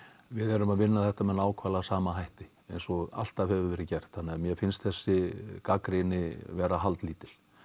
við erum að vinna þetta með nákvæmlega sama hætti eins og alltaf hefur verið gert þannig að mér finnst þessi gagnrýni vera haldlítil